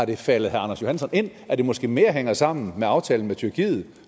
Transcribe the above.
det faldet herre anders johansson ind at det måske mere hænger sammen med aftalen med tyrkiet